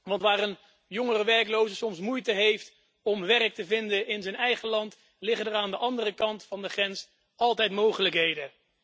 Want waar een jonge werkloze soms moeite heeft om werk te vinden in zijn eigen land, liggen er aan de andere kant van de grens altijd mogelijkheden.